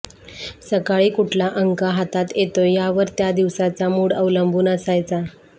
सकाळी कुठला अंक हातात येतोय यावर त्या दिवसाचा मूड अवलंबून असायचा